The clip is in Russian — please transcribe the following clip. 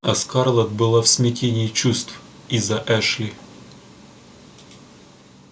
а скарлетт была в смятении чувств из-за эшли